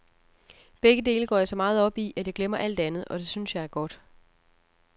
Begge dele går jeg så meget op i, at jeg glemmer alt andet, og det synes jeg er godt.